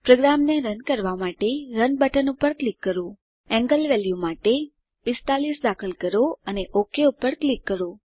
પ્રોગ્રામને રન કરવાં માટે રન બટન પર ક્લિક કરીએ ખૂણા વેલ્યુ માટે 45 દાખલ કરો અને ઓક પર ક્લિક કરો